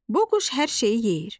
Bu quş hər şeyi yeyir.